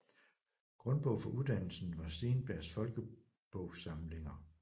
Grundbog for uddannelsen var Steenbergs Folkebogsamlinger